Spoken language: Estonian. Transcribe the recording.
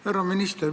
Härra minister!